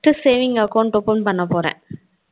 first savings account open பண்ண போறே